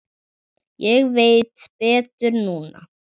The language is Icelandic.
Ég veit betur núna.